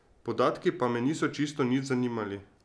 Podatki pa me niso čisto nič zanimali.